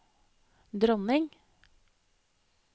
dronning